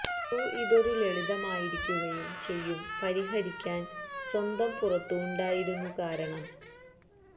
crew ഇതൊരു ലളിതമായ രിക്കുകയും ചെയ്യും പരിഹരിക്കാൻ സ്വന്തം പുറത്തു ഉണ്ടായിരുന്നു കാരണം